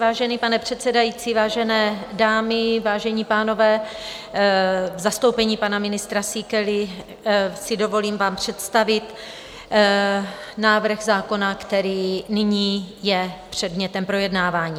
Vážený pane předsedající, vážené dámy, vážení pánové, v zastoupení pana ministra Síkely si dovolím vám představit návrh zákona, který nyní je předmětem projednávání.